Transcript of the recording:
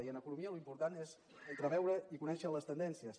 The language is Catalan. i en economia l’import és entreveure i conèixer les tendències